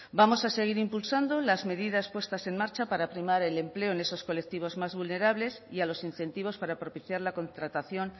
vamos a seguir impulsando las medidas puestas en marcha para primar el empleo en esos colectivos más vulnerables y a los incentivos para propiciar la contratación